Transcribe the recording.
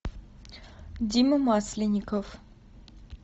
дима масленников